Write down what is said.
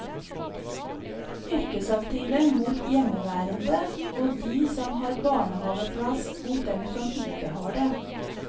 Yrkesaktive mot hjemmeværende og de som har barnehaveplass mot dem som ikke har det.